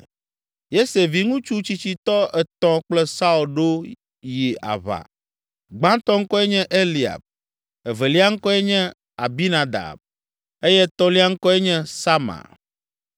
Yese viŋutsu tsitsitɔ etɔ̃ kplɔ Saul ɖo yi aʋa. Gbãtɔ ŋkɔe nye Eliab, evelia ŋkɔe nye Abinadab eye etɔ̃lia ŋkɔe nye Sama.